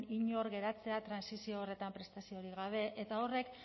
inor geratzea trantsizio horretan prestaziorik gabe eta horrek